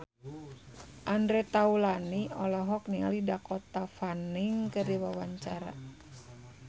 Andre Taulany olohok ningali Dakota Fanning keur diwawancara